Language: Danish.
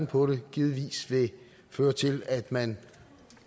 på det givetvis vil føre til at man